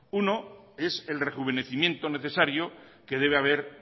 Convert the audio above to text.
uno es el rejuvenecimiento necesaria que debe haber